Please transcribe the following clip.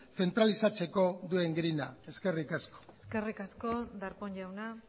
zentralizatzeko duen grina eskerrik asko eskerrik asko darpón jauna